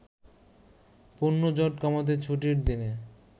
পণ্যজট কমাতে ছুটির দিনে